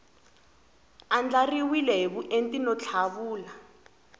andlariwile hi vuenti no tlhavula